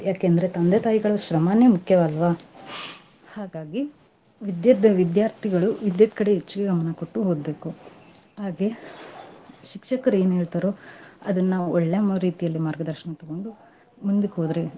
ಯಾಕಂದ್ರೆ ತಂದೆ ತಾಯಿಗಳು ಶ್ರಮಾನೇ ಮುಖ್ಯವಲ್ವಾ? ಹಾಗಾಗಿ, ವಿದ್ಯಭ್ ವಿದ್ಯಾರ್ಥಿಗಳು ವಿದ್ಯೆದ್ ಕಡೆ ಹೆಚ್ಚಿಗೆ ಗಮನಾ ಕೊಟ್ಟು ಓದ್ಬೇಕು ಹಾಗೆ, ಶಿಕ್ಷಕರ್ ಏನ್ ಹೇಳ್ತಾರೋ ಅದ್ನಾ ಒಳ್ಳೆ ರೀತಿಯಲ್ಲಿ ಮಾರ್ಗದರ್ಶನ ತಗೊಂಡು ಮುಂದಕ್ ಹೋದ್ರೆ .